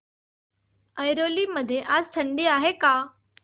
ऐरोली मध्ये आज थंडी आहे का